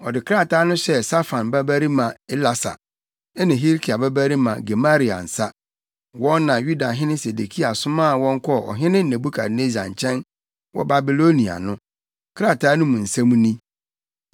Ɔde krataa no hyɛɛ Safan babarima Elasa ne Hilkia babarima Gemaria nsa, wɔn na Yudahene Sedekia somaa wɔn kɔɔ Ɔhene Nebukadnessar nkyɛn wɔ Babilonia no. Krataa no mu nsɛm ni: